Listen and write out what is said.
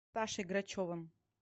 сашей грачевым